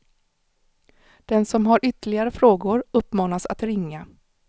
Den som har ytterligare frågor uppmanas att ringa.